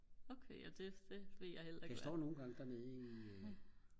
den står nogengange dernede i